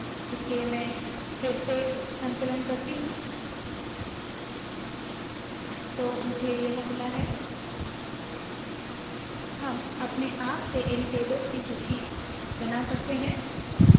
इसलिए मैं फिर से संकलन करती हूँ तो मुझे यह मिला है हम अपने आप से इल टेबल्स की सूची बना सकते है